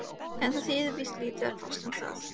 En það þýðir víst lítið að fást um það.